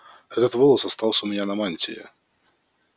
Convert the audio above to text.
этот волос остался у меня на мантии